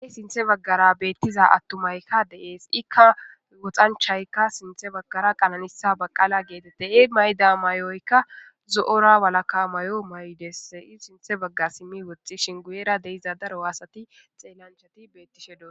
e sinthe baggara beettiza attu maykka deees ikka woxanchaykka sinthe baggara qananisa baqaala geetettei mayda may7oykka zo7ora walaka may7o maydessi sinthe bagga simmi woxxishin guyeera deiza daro aasati xeellanchati beettishe do